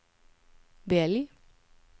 välj